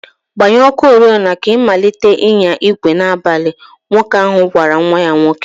Gbanye ọkụ oriọna ka ị malite ịnya igwe n'abalị" Nwoke ahụ gwara nwa ya nwoke.